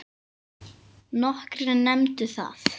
Nokkrir nefndu það.